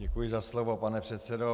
Děkuji za slovo, pane předsedo.